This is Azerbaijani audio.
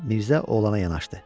Mirzə oğlana yanaşdı.